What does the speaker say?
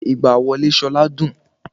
Ayẹyẹ ìgba wọlé Ṣọlá dùn